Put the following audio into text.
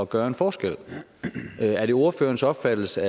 gøre en forskel er det ordførerens opfattelse